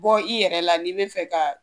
Bɔ i yɛrɛ la n'i bɛ fɛ ka